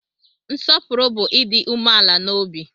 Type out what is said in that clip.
Nsopuru bu Ịdị umeala n'obi